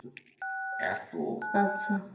এত